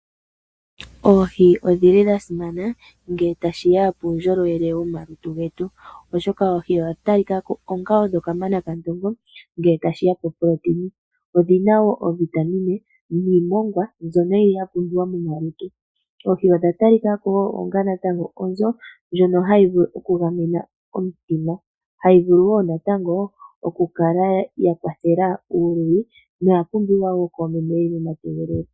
Oohi odhi li dha simana ngele tashi ya puundjolowele womalutu getu, oshoka oohi odha talika ko onga kamana kandongo ngele tashi ya poProtein. Odhi na wo oovitamine dhiimongwa mbyono yi li ya pumbiwa momalutu. Oohi odha talika ko wo onga natango onzo, ndjono hayi vulu okugamena omutima, hayi vulu wo natango okukala ya kwathela uuluyi, noya pumbiwa wo koomeme ye li momategelelo.